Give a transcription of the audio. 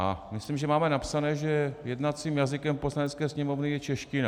A myslím, že máme napsané, že jednacím jazykem Poslanecké sněmovny je čeština.